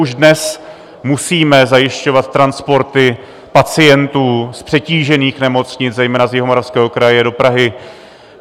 Už dnes musíme zajišťovat transporty pacientů z přetížených nemocnic, zejména z Jihomoravského kraje do Prahy.